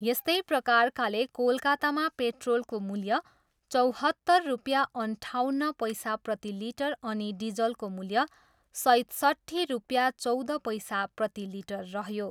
यस्तै प्रकारकाले कोलकातामा पेट्रोलको मूल्य चौहत्तर रुपियाँ अन्ठाउन्न पैसा प्रतिलिटर अनि डिजलको मूल्य सैतसट्ठी रुपियाँ चौध पैसा प्रति लिटर रहयो।